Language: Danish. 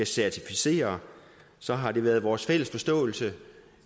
certificere så har det været vores fælles forståelse